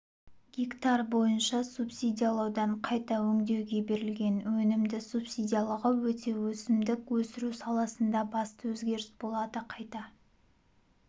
гектар бойынша субсидиялаудан қайта өңдеуге берілген өнімді субсидиялауға өту өсімдік өсіру саласындағы басты өзгеріс болады қайта